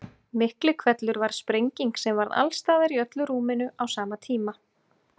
Miklihvellur var sprenging sem varð alls staðar í öllu rúminu á sama tíma.